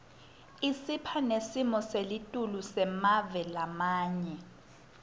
isipha nesimo selitulu semave lamanye